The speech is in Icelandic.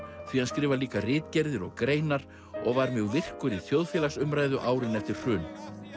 því hann skrifar líka ritgerðir og greinar og var mjög virkur í þjóðfélagsumræðu árin eftir hrun